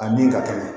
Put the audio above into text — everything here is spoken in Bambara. A min ka teli